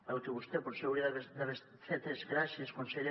el que vostè potser hauria d’haver fet és gràcies conseller